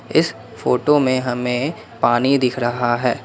इस फोटो में हमें पानी दिख रहा है।